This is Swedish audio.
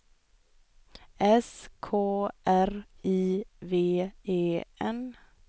S K R I V E N